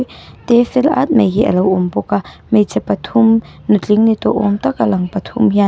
te fel at mai hi alo awm bawk a hmeichhe pathum nutling ni tawh awm tak a lang pathum hian--